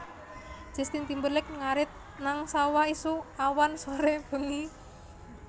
Justin Timberlake ngarit nang sawah isuk awan sore bengi